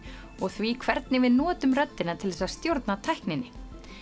og því hvernig við notum röddina til þess að stjórna tækninni